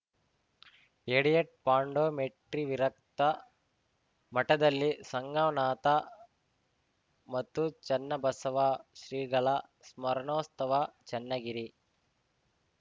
edit ಪಾಂಡೋಮಟ್ಟಿವಿರಕ್ತ ಮಠದಲ್ಲಿ ಸಂಗಮನಾಥ ಮತ್ತು ಚನ್ನಬಸವ ಶ್ರೀಗಳ ಸ್ಮರಣೋಸ್ತವ ಚನ್ನಗಿರಿ